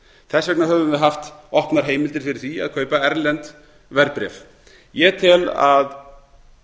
þess vegna höfum við haft opnar heimildir fyrir því að kaupa erlend verðbréf ég tel að